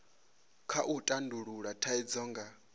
kha u tandulula thaidzo nga